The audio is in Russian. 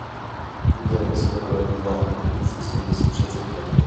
гудермес первая бульварная улица семьдесят шесть в